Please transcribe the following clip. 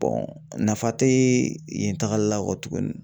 nafa tɛ yen tagali la kɔtuguni.